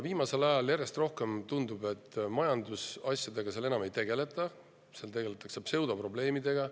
Viimasel ajal tundub järjest rohkem, et majandusasjadega seal enam ei tegelda, seal tegeletakse pseudoprobleemidega.